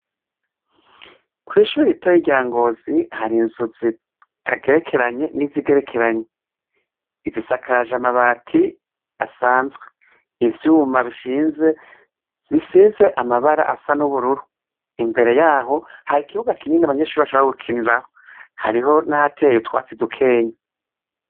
Kw'ishuri ritoya rya Ngozi har'inzu zitagerekeranye nizigerekeranye, izisakaje amabati asanzwe, ivyuma bishinze bisize amabara asa n'ubururu. Imbere yaho hari n'ikibuga kinini abanyeshure bashobora gukinirako; hariho nahateye utwatsi dukenya